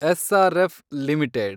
SRF limited